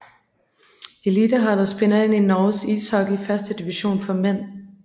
Eliteholdet spiller ind Norges ishockey førstedivision for mænd